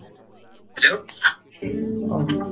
hello ଅ